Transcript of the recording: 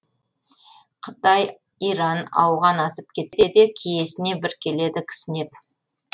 қытай иран ауған асып кетсе де киесіне бір келеді кісінеп